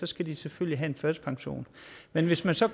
skal de selvfølgelig have en førtidspension men hvis man så